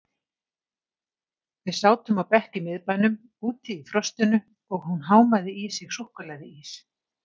Við sátum á bekk í miðbænum, úti í frostinu og hún hámaði í sig súkkulaðiís.